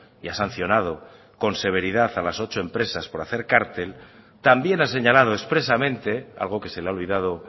y ha sancionado con severidad a los ocho empresas por hacer cártel también ha señalado expresamente algo que se le ha olvidado